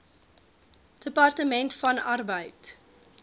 departement van arbeid